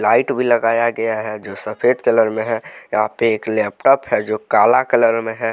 Light भी लगाया गया है जो सफेद कलर में है यहां पे एक लैपटॉप है जो काला कलर में है।